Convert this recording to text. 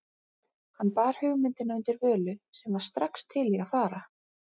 Hann bar hugmyndina undir Völu, sem var strax til í að fara.